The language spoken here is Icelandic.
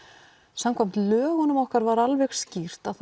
samkvæmt lögum okkar var alveg skýrt að